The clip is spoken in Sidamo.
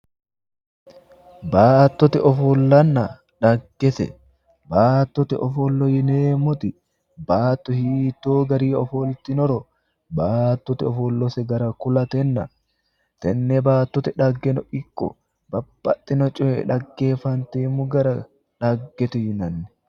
Baattote ofollonna xaggese baattote ofolla yineemmoti baatto hiittoo garinni ofoltinoro baattote ofolla gara kulatenna tenne baattote xaggeno ikko wole babbaxino coye xaggefanteemmo gara xaggete yinanni.